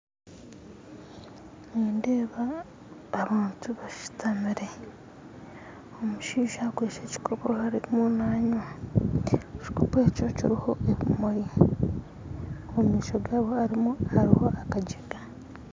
Nindeeba abantu bashutamire omushaija akwitse ekikopo arumu nanywa , ekikopo ekyo kiriho ebimuri omumaisho gabo haruho akajerikani.